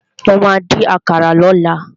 Mo ma dín àkàrà lọ́la.